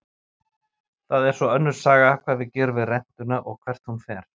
Það er svo önnur saga hvað við gerum við rentuna og hvert hún fer.